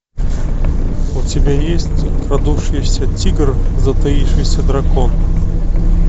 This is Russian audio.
у тебя есть крадущийся тигр затаившийся дракон